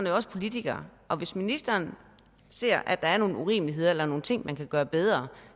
jo også politiker og hvis ministeren ser at der er nogle urimeligheder eller nogle ting man kan gøre bedre